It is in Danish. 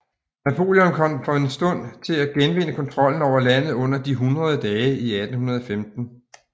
Napoleon kom for en kort stund til at genvinde kontrollen over landet under De hundrede dage i 1815